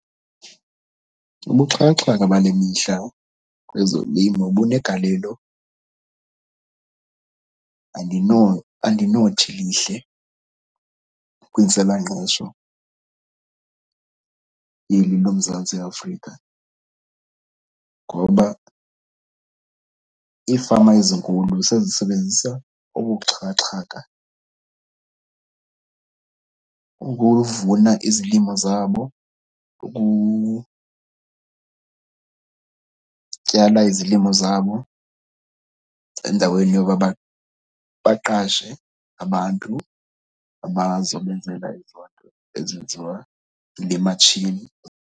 Ubuxhakaxhaka bale mihla kwezolimo bunegalelo. Andinothi lihle kwintswelangqesho yeli loMzantsi Afrika ngoba iifama ezinkulu sesisebenzisa obu buxhakaxhaka ukuvuna izilimo zabo, ukutyala izilimo zabo endaweni yoba baqashe abantu abazobenzela ezo nto ezenziwa ngematshini.